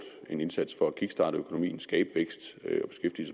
en indsats for at kickstarte økonomien skabe vækst